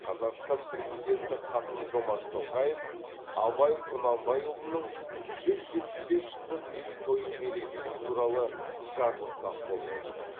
қазақстан президенті қасым жомарт тоқаев абай құнанбайұлының жүз жетпіс бес жылдық мерейтойын мерекелеу туралы жарлыққа қол қойды